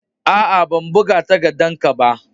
Aa, ban buga takaddan ka ba.